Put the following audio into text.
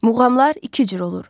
Muğamlar iki cür olur: